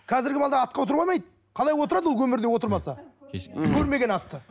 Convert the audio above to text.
қазіргі балалар атқа отыра алмайды қалай отырады ол өмірде отырмаса көрмеген атты